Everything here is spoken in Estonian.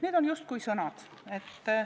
Need on justkui sõnad.